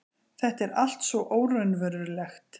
Þetta er allt svo óraunverulegt.